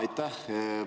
Aitäh!